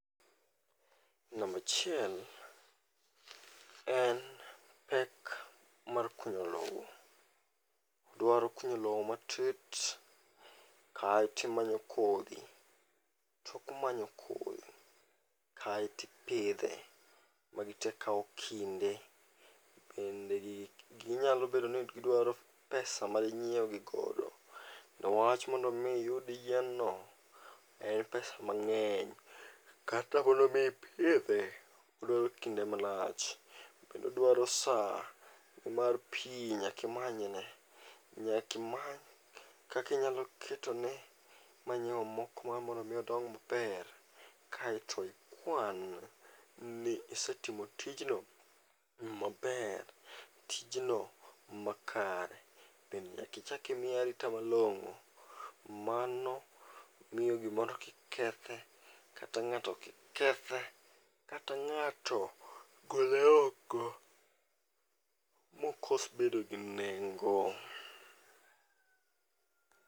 Namba achiel en pek mar kunyo lowo. Odwaro kunyo lowo matut kae to imanyo kodhi. Tok manyo kodhi, kaeto ipidhe, magi te kawo kinde, bende gigi nyalo bedo ni gidwaro pesa ma dinyiew gi godo. Kendo wach mondo mi iyud yien no en pesa mang'eny. Kata mondo mi ipidhe, odwaro kinde malach kendo dwaro saa nimar pi nyaka imany ne. Nyaka imany kaka inyalo ketone manyiwa moko mar mondo in odong maber kaeto ikwan ni isee timo tijno maber tijno makare bende nyaka imiye arita malong'o mano miyo gimoro kik kethe kata ng'ato gole oko mokos bedo gi nengo.